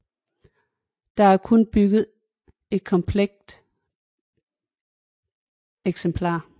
Der er kun bygget et komplet eksemplar